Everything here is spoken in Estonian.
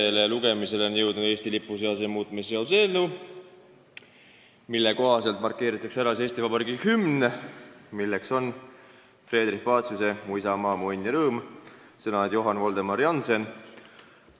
Teisele lugemisele on jõudnud Eesti lipu seaduse muutmise seaduse eelnõu, mille kohaselt markeeritakse ära Eesti Vabariigi hümn, milleks on Friedrich Paciuse ''Mu isamaa, mu õnn ja rõõm'', sõnad Johann Voldemar Jannsenilt.